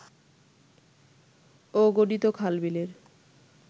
অগণিত খাল-বিলের